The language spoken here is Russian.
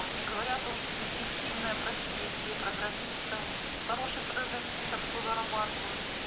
уж не говоря о том что перспективная профессия программистам хорошие программисты хорошо зарабатывают